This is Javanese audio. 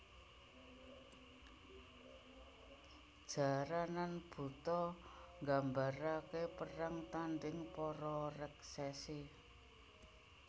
Jaranan Buto nggambaraken perang tanding para reksesi